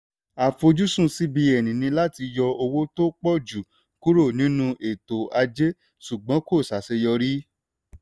àfojúsùn cbn ni láti yọ owó tó pọ̀ jù kúrò nínú ètò ajé ṣùgbọ́n kò ṣàṣeyọrí.